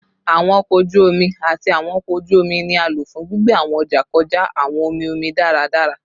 Awọn ọkọ oju omi ati awọn ọkọ oju omi ni a lo fun gbigbe awọn ọja kọja awọn omi omi daradara